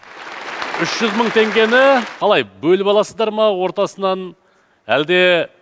үш жүз мың теңгені қалай бөліп аласыздар ма ортасынан әлде